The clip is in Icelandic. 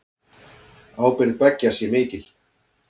Ábyrgð beggja sé mikil.